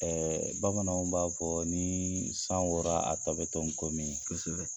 Ɛɛ Bamananw b'a fɔ ni san wora a b'a tɔ to kɔmi ye.